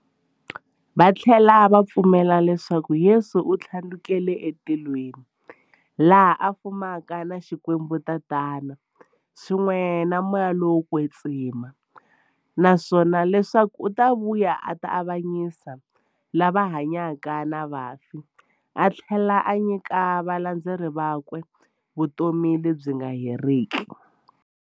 Vathlela va pfumela leswaku Yesu u thlandlukele e matilweni, laha a fumaka na Xikwembu-Tatana, swin'we na Moya lowo kwetsima, naswona leswaku u ta vuya a ta avanyisa lava hanyaka na vafi athlela a nyika valandzeri vakwe vutomi lebyi nga heriki.